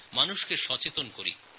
মানুষজনকে সচেতন করার অনুরোধ জানিয়ে